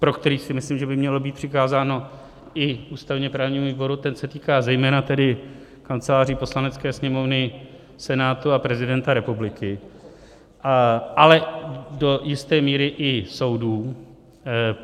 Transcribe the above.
pro který si myslím, že by mělo být přikázáno i ústavně-právnímu výboru, ten se týká zejména tedy kanceláří Poslanecké sněmovny, Senátu a prezidenta republiky, ale do jisté míry i soudů.